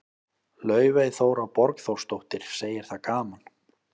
Laufey Þóra Borgþórsdóttir, segir það gaman.